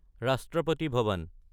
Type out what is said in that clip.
ৰাষ্ট্ৰপতি ভৱন